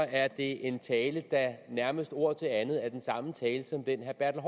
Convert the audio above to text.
er det en tale der nærmest ord til andet er den samme tale som den herre